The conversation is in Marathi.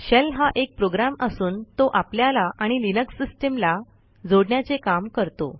शेल हा एक प्रोग्रॅम असून तो आपल्याला आणि लिनक्स सिस्टीमला जोडण्याचे काम करतो